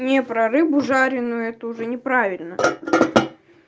не про рыбу жареную это уже неправильно